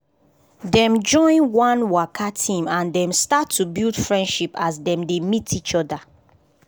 dem join one waka team and dem start to build friendship as dem dey meet each other